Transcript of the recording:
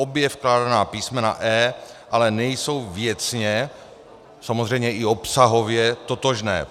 Obě vkládaná písmena e) ale nejsou věcně, samozřejmě i obsahově, totožná.